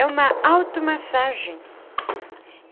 É uma automassagem.